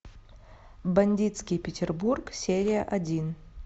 бандитский петербург серия один